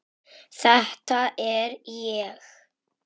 Þetta er ég.